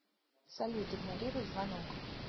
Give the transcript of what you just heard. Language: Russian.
салют игнорируй звонок